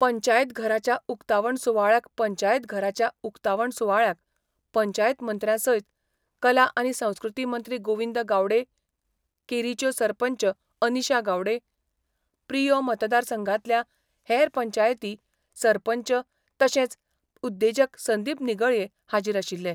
पंचायत घराच्या उकतावण सुवाळ्याक पंचायत घराच्या उकतावण सुवाळ्याक पंचायत मंत्र्या सयत कला आनी संस्कृती मंत्री गोविंद गावडे, केरीच्यो सरपंच अनिशा गावडे, प्रियो मतदारसंघांतल्या हेर पंचायती सरपंच तशेंच उद्देजक संदीप निगळये हाजीर आशिल्ले.